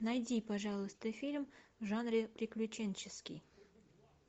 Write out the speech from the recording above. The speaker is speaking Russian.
найди пожалуйста фильм в жанре приключенческий